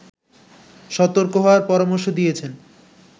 সতর্ক হওয়ার পরামর্শ দিয়েছেন